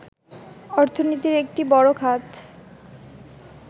অর্থনীতির একটি বড় খাত